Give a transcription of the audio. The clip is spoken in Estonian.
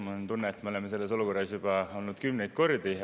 Mul on tunne, et me oleme selles olukorras juba olnud kümneid kordi.